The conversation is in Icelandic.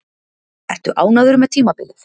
Ertu ánægður með tímabilið?